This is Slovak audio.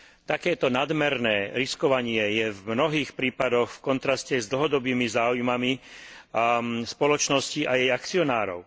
Takéto nadmerné riskovanie je v mnohých prípadoch v kontraste s dlhodobými záujmami spoločnosti a jej akcionárov.